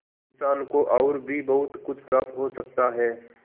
इंसान को और भी बहुत कुछ प्राप्त हो सकता है